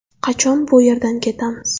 Qachon bu yerdan ketamiz?